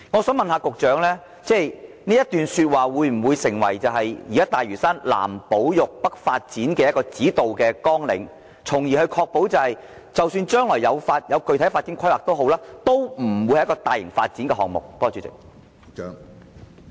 請問局長這段說話會否成為現時大嶼山"南保育、北發展"的指導綱領，確保即使將來進行具體發展規劃，也不會成為大型發展項目？